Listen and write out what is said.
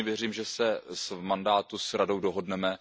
Pevně věřím, že se v mandátu s Radou dohodneme.